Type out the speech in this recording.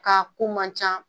Ka ko man ca